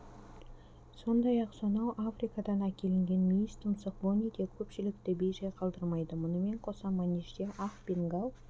сондай-ақ сонау африкадан әкелінген мүйізтұмсық бони де көпшілікті бей-жай қалдырмайды мұнымен қоса манежде ақ бенгал